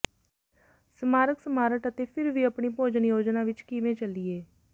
ਸਮਾਰਕ ਸਮਾਰਟ ਅਤੇ ਫਿਰ ਵੀ ਆਪਣੀ ਭੋਜਨ ਯੋਜਨਾ ਵਿਚ ਕਿਵੇਂ ਚੱਲੀਏ